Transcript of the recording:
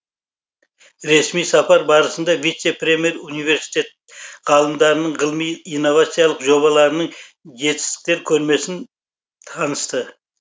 ресми сапар барысында вице премьер университет ғалымдарының ғылыми инновациялық жобаларының жетістіктер көрмесін танысты